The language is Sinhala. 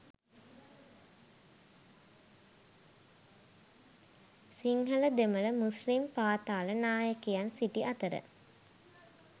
සිංහල දෙමළ මුස්ලිම් පාතාල නායකයන් සිටි අතර